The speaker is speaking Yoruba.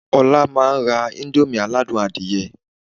Ọlá máa ra íńdómì aládùn adìyẹ.